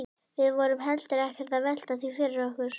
Við vorum heldur ekkert að velta því fyrir okkur.